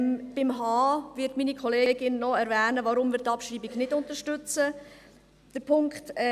Beim Punkt h wird meine Kollegin noch erwähnen, weshalb wir die Abschreibung nicht unterstützen.